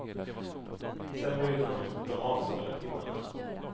Sedan böjde de ut de avsågade pinnarna.